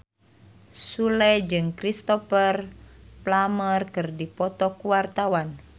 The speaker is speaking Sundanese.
Sule jeung Cristhoper Plumer keur dipoto ku wartawan